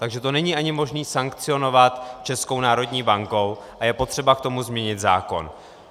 Takže to není ani možné sankcionovat Českou národní bankou a je potřeba k tomu změnit zákon.